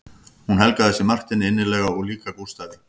Hún helgaði sig Marteini innilega og líka Gústafi